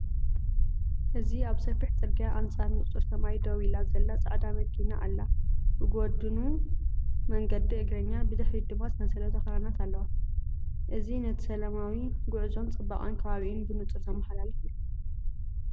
እዚ ኣብ ሰፊሕ ጽርግያ ኣንጻር ንጹር ሰማይ ደው ኢላ ዘላ ጻዕዳ መኪና ኣላ። ብጐድኑ መንገዲ እግረኛ፡ ብድሕሪት ድማ ሰንሰለት ኣኽራናት ኣለዋ። እዚ ነቲ ሰላማዊ ጉዕዞን ጽባቐ ከባቢኡን ብንጹር ዘመሓላልፍ እዩ።